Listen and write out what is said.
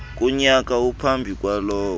kunyaka ophambi kwalowo